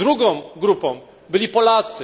Drugą grupą byli Polacy.